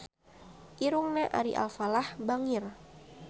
Irungna Ari Alfalah bangir